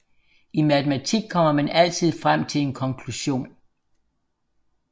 I matematik kommer man altid frem til en konklusion